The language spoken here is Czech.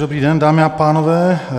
Dobrý den, dámy a pánové.